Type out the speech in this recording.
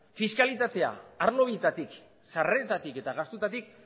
fiskalidadea arlo bietatik sarreretatik eta gastuetatik